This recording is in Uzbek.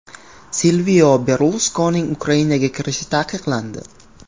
Silvio Berluskonining Ukrainaga kirishi taqiqlandi.